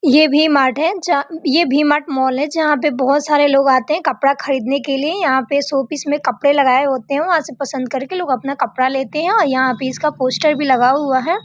ये भी माट है जहां ये भी माट मॉल है जहां पे बोहुत सारे लोग आते हैं कपड़ा खरीदनें के लिए। यहाँ पे शो पीस में कपड़े लगाए होते हैं वहाँ से कपड़ा पसन्द करके लोग अपना कपड़ा लेते हैं और यहाँ पे इसका पोस्टर भी लगा हुआ है।